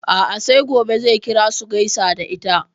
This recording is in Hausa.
A'a sai gobe zai kira su gaisa da ita.